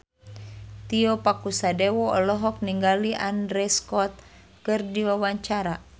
Tio Pakusadewo olohok ningali Andrew Scott keur diwawancara